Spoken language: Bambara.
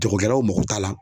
Jagokɛlaw mako t'a la